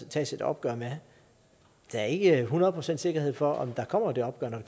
tages et opgør med der er ikke hundrede procent sikkerhed for at der kommer det opgør når